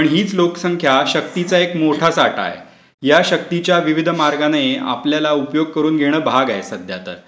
पण हीच लोकसंख्या शक्तीचा एक मोठा साठा आहे. या शक्तीच्या विविध मार्गाने आपल्याला उपयोग करून घेणं भाग आहे सध्यातरी.